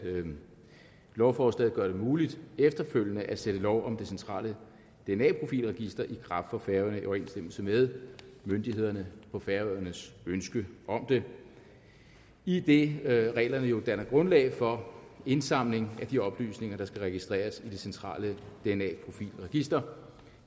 lovforslaget gør det muligt efterfølgende at sætte lov om det centrale dna profil register i kraft på færøerne i overensstemmelse med myndighederne på færøernes ønske om det idet reglerne jo danner grundlag for indsamling af de oplysninger der skal registreres i det centrale dna profil register